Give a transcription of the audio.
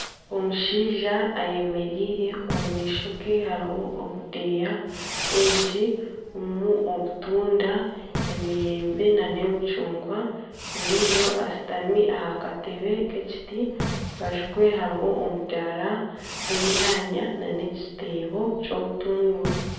Omushaija ayemereire omumaishoge hariho obudeeya bwingi burimu obutunda emiyembe nana emicungwa ondiijo ashutami aha katebe k'ekiti aharubaju rwe hariho omudaara gw'enyanya nana ekiteebo kyobutunguru.